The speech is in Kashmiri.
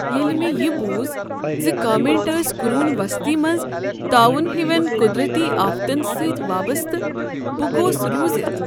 ییٚلہ مےٚ یہ بوز ز کامیٹ ٲسۍ قرون وسطی منز طاعون ہوین قدرتی آفتن سۭتۍ وابستہٕ، بہٕ گوس رُوزتھ۔